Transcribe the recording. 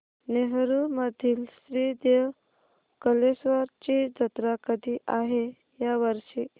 नेरुर मधील श्री देव कलेश्वर ची जत्रा कधी आहे या वर्षी